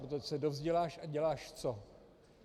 Protože se dovzděláš a děláš co?